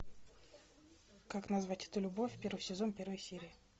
как назвать эту любовь первый сезон первая серия